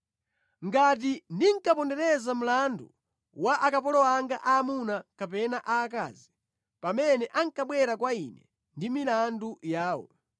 “Ngati ndinkapondereza mlandu wa akapolo anga aamuna kapena aakazi, pamene ankabwera kwa ine ndi milandu yawo,